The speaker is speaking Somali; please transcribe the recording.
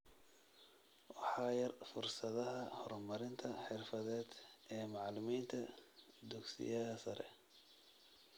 Waxaa yar fursadaha horumarinta xirfadeed ee macalimiinta dugsiyaha sare